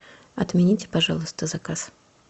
отмените пожалуйста заказ